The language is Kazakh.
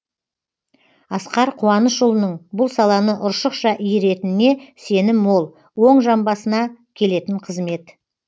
асқар қуанышұлының бұл саланы ұршықша иіретініне сенім мол оң жамбасына келетін қызмет